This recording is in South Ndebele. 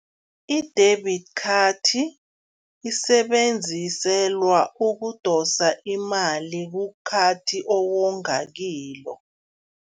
I-debit card isebenziselwa ukudosa imali kukhathi owonga kilo.